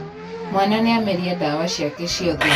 Mwana nĩameria dawa ciake ciothe.